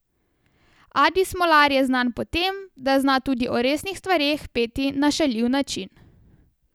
Adi Smolar je znan po tem, da zna tudi o resnih stvareh peti na šaljiv način.